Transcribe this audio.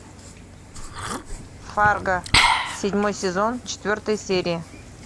фарго седьмой сезон четвертая серия